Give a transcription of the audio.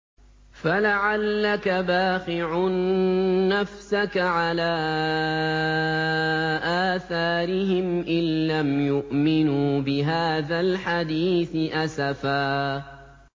فَلَعَلَّكَ بَاخِعٌ نَّفْسَكَ عَلَىٰ آثَارِهِمْ إِن لَّمْ يُؤْمِنُوا بِهَٰذَا الْحَدِيثِ أَسَفًا